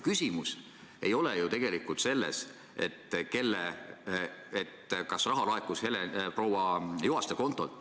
Küsimus ei ole ju tegelikult selles, kas raha laekus proua Juhaste kontolt.